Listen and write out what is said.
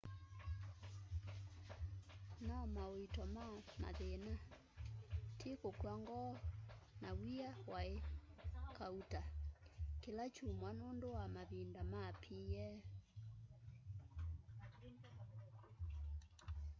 no mauito ma mathina ti kukw'a ngoo na wia waí kauta kila kyumwa nundu wa mavinda ma pa